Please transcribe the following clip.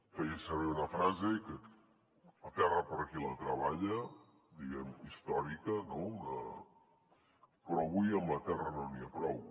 feia servir una frase la terra per a qui la treballa diguem ne històrica no però avui amb la terra no n’hi ha prou